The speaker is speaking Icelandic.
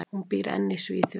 Hún býr enn í Svíþjóð.